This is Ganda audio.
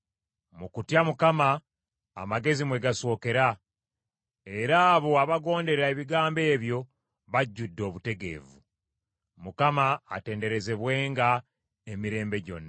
Mu kutya Mukama amagezi mwe gasookera era abo abagondera ebigambo ebyo bajjudde obutegeevu. Mukama atenderezebwenga emirembe gyonna.